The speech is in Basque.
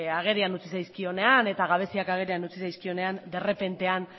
agerian utzi zaizkionean eta gabeziak agerian utzi zaizkionean derrepentean